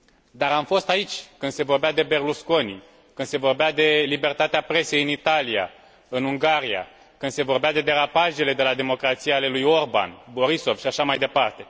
Dar am fost aici când se vorbea de Berlusconi, când se vorbea de libertatea presei în Italia, în Ungaria, când se vorbea de derapajele de la democrație ale lui Orban, Borissov și așa mai departe.